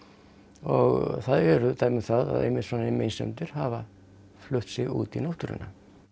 og það eru dæmi um það að svona meinsemdir hafa flutt sig út í náttúruna